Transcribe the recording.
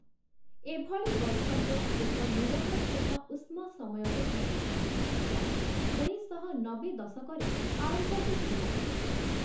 ଏଭଳି ବୈଷମ୍ୟ, ଏକ ନିରବଚ୍ଛିନ୍ନ ଉଷ୍ମ ସମୟରେ ଘଟିଛି, ଯାହା ଉଣେଇଶଶହ ନବେ ଦଶକରେ ଆରମ୍ଭ ହୋଇଥିଲା ।